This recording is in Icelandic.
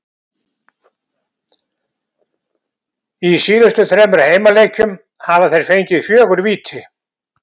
Í síðustu þremur heimaleikjum hafa þeir fengið fjögur víti.